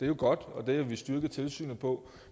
jo godt og det vil vi styrke tilsynet på